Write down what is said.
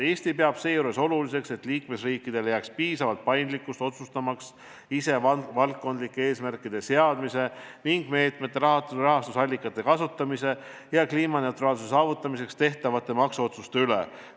Eesti peab seejuures oluliseks, et liikmesriikidele jääks piisavalt paindlikkust otsustamaks ise valdkondlike eesmärkide seadmise, meetmete rahastusallikate kasutamise ja kliimaneutraalsuse saavutamiseks tehtavate maksuotsuste üle.